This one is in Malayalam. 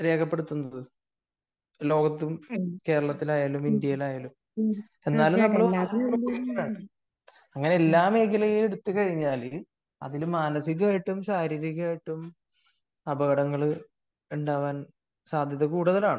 രേഖപ്പെടുത്തുന്നത് ലോകത്തും കേരളത്തിൽ ആയാലും ഇന്ത്യയിലായാലും എന്നാലും നമ്മള് അങ്ങനെ എല്ലാ മേഖലയും എടുത്തുകഴിഞ്ഞാൽ അതിൽ മാനസികായിട്ടും ശാരീരികായിട്ടും അപകടങ്ങൾ ഉണ്ടാവാൻ സാധ്യത കൂടുതലാണ്